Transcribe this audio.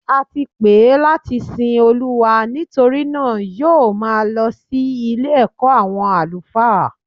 Ati pè é láti sin Olúwa nítorí náà yóò máa lọ sí Ilé ẹ̀kọ́ àwọn àlùfáà